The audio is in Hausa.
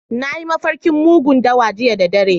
Na yi mafarkin mugun dawa jiya da dare.